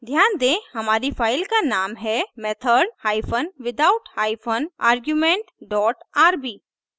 ध्यान दें हमारी फाइल का नाम है method hypen without hypen argument dot rb